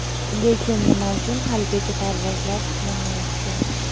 Lekin nima uchun haligacha parvozlar tiklanmayapti?.